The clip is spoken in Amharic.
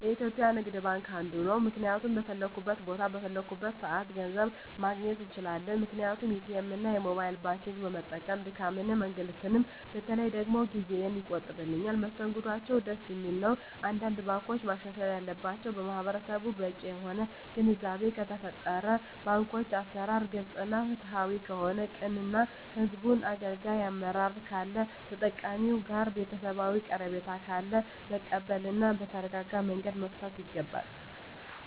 የኢትዩጲያ ንግድባንክ አንዱ ነዉ ምክንያቱም በፈለኩት ቦታ በፈለኩበት ሰአት ገንዘብ ማግኘት እንችላለን ምክንያቱም ኢትኤምእና የሞባይል ባንኪግን በመጠቀም ድካምንም እንግልትም በተለይ ደግሞ ጊዜየን ይቆጥብልኛል መስተንግዶአቸዉም ደስ የሚል ነዉ አንዳንድ ባንኮች ማሻሻል ያለባቸዉ ለማህበረሰቡ በቂ የሆነ ግንዛቤ ከተፈጠረ የባንኮች አሰራር ግልፅ እና ፍትሀዊ ከሆነ ቅን እና ህዝቡን አገልጋይ አመራር ካለ ከተጠቃሚዉ ጋር ቤተሰባዊ ቀረቤታ ካለ መቀበል እና በተረጋጋመንገድ መፍታት ይገባል